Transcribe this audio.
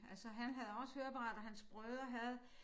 Altså han havde også høreapparat og hans brødre havde